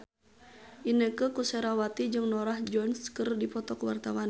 Inneke Koesherawati jeung Norah Jones keur dipoto ku wartawan